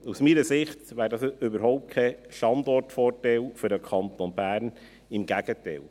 Aus meiner Sicht wäre dies überhaupt kein Standortvorteil für den Kanton Bern, im Gegenteil.